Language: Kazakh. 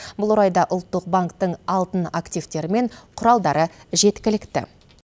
бұл орайда ұлттық банктің алтын активтері мен құралдары жеткілікті